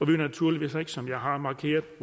vil naturligvis ikke som jeg har markeret